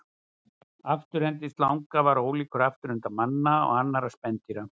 Afturendi slanga er ólíkur afturenda manna og annarra spendýra.